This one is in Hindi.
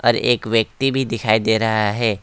और एक व्यक्ति भी दिखाई दे रहा है।